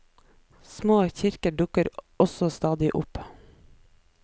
Små kirker dukker også stadig opp.